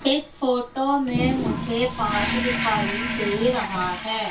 इस फोटो में मुझे पार्क दिखाई दे रहा है।